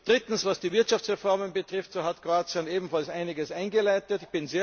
Drittens Was die Wirtschaftsreformen betrifft, so hat Kroatien ebenfalls einiges eingeleitet.